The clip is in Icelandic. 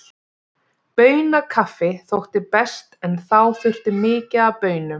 Baunakaffi þótti best, en þá þurfti mikið af baunum.